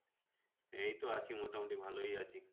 এই তো আছি মোটামুটি ভালোই আছি।